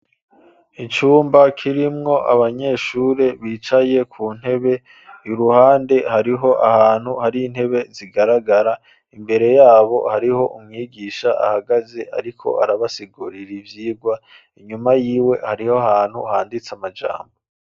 Icumba kirimwo abanyeshure bicaye ku ntebe iruhande hariho ahantu hari intebe zigaragara imbere yabo hariho umwigisha ahagaze ariko arabasigurira ivyirwa, inyuma yiwe hariho ahantu handitse amajambo.